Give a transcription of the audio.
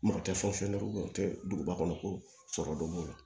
Mɔgɔ tɛ o tɛ duguba kɔnɔ ko sɔrɔ dɔ b'o la